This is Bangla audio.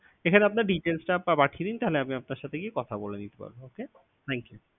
এখানে আপনার details টা পাব~ পাঠিয়ে দিন তাহলে আমি আপনার সাথে গিয়ে কথা বলে নিতে পারবো। Okay thank you